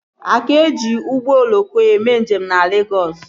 A ka ji ụgbọ oloko eme njem na Legọs